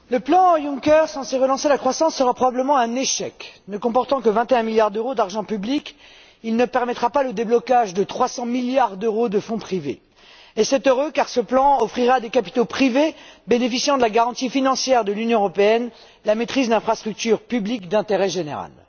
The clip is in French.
Monsieur le Président, le plan Juncker censé relancer la croissance sera probablement un échec. Ne comportant que 21 milliards d'euros d'argent public, il ne permettra pas le déblocage de 300 milliards d'euros de fonds privés. Et c'est heureux, car ce plan offrirait à des capitaux privés bénéficiant de la garantie financière de l'Union européenne la maîtrise d'infrastructures publiques d'intérêt général.